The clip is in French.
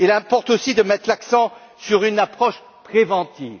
Il importe aussi de mettre l'accent sur une approche préventive.